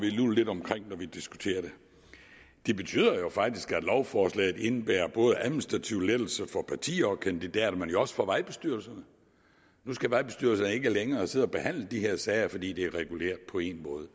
lidt omkring når vi diskuterer det det betyder faktisk at lovforslaget indebærer administrative lettelser for partier og kandidater men jo også for vejbestyrelserne nu skal vejbestyrelserne ikke længere sidde og behandle de her sager fordi det er reguleret på én måde